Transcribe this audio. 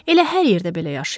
Elə hər yerdə belə yaşayırlar.